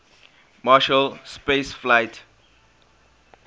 marshall space flight